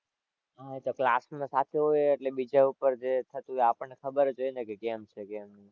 હાં એ તો class માં થતું હોય એટલે બીજા ઉપર જે થતું હોય એ આપણને ખબર જ હોય ને કેમ છે કેમ નહીં.